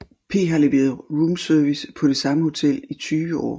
P har leveret roomservice på det samme hotel i 20 år